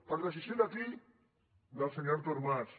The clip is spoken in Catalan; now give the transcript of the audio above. per decisió de qui del senyor artur mas